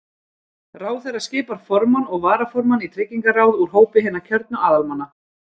Ráðherra skipar formann og varaformann tryggingaráð úr hópi hinna kjörnu aðalmanna.